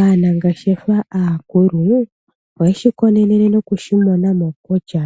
Aanangeshefa aakulu oyeshi konene nokushimona mo kutya